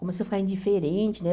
Começou a ficar indiferente, né?